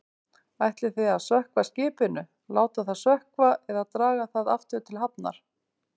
Ætlið þið að sökkva skipinu, láta það sökkva eða draga það aftur til hafnar?